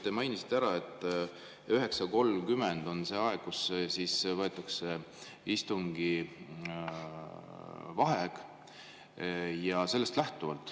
Te mainisite, et 9.30 on see aeg, kui võetakse vaheaeg.